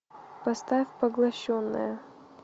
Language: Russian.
поставь поглощенная